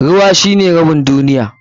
Ruwa shine rabin duniya.